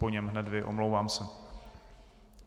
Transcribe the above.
Po něm hned vy, omlouvám se.